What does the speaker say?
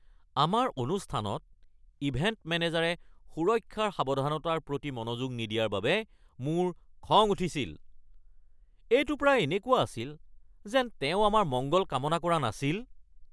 আমাৰ অনুষ্ঠানত ইভেণ্ট মেনেজাৰে সুৰক্ষাৰ সাৱধানতাৰ প্ৰতি মনোযোগ নিদিয়াৰ বাবে মোৰ খং উঠিছিল। এইটো প্ৰায় এনেকুৱা আছিল যেন তেওঁ আমাৰ মংগল কামনা কৰা নাছিল!